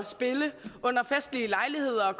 spille ved festlige lejligheder og